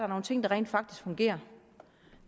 nogle ting der rent faktisk fungerer